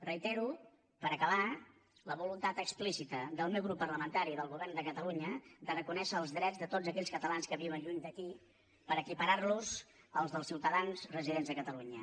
reitero per acabar la voluntat explicita del meu grup parlamentari i del govern de catalunya de reconèixer els drets de tots aquells catalans que viuen lluny d’aquí per equiparar los als dels ciutadans residents a catalunya